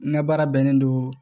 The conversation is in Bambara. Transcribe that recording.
N ka baara bɛnnen don